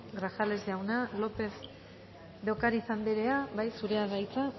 grajales jauna lópez de ocariz andrea bai zurea da hitza